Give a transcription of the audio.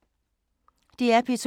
DR P2